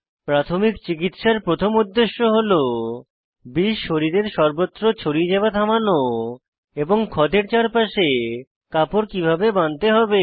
প্রাথমিক চিকিত্সার প্রথম উদ্দেশ্য হল বিষ শরীরের সর্বত্র ছড়িয়ে যাওয়া থামানো এবং ক্ষতের চারপাশে কাপড় কিভাবে বাঁধতে হবে